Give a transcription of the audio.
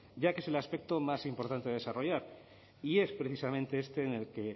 ya que es el aspecto más importante a desarrollar y es precisamente